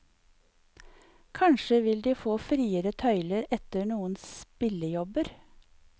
Kanskje vil de få friere tøyler etter noen spillejobber.